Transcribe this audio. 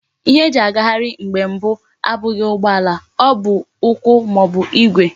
Ihe eji agaghari mgbe mbu abughi ugbo ala, o bu ukwu ma ọ bụ Igwe.